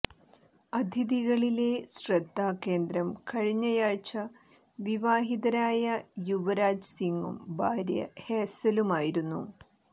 അതിഥികളിലെ ശ്രദ്ധാകേന്ദ്രം കഴിഞ്ഞയാഴ്ച വിവാഹിതരായ യുവരാജ് സിംഗും ഭാര്യ ഹേസലു മായിരുന്നു